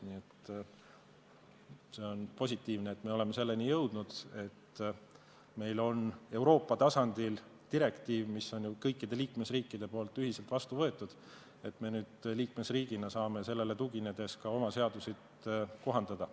Nii et see on positiivne, et me oleme selleni jõudnud, et meil on Euroopa tasandil direktiiv, mis on ju kõikidel liikmesriikidel ühiselt vastu võetud ning me nüüd liikmesriigina saame sellele tuginedes ka oma seaduseid kohandada.